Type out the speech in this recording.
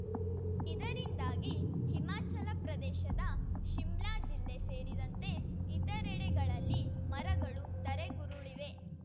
ಇದರಿಂದಾಗಿ ಹಿಮಾಚಲ ಪ್ರದೇಶದ ಶಿಮ್ಲಾ ಜಿಲ್ಲೆ ಸೇರಿದಂತೆ ಇತರೆಡೆಗಳಲ್ಲಿ ಮರಗಳು ಧರೆಗುರುಳಿವೆ